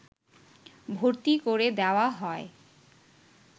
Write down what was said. ভর্তি করে দেওয়া হয়